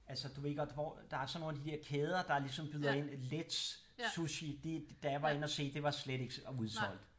Altså du ved godt hvor der er sådan nogle af de dér kæder der ligesom byder ind Letz Sushi det da jeg var inde at se det var slet ikke udsolgt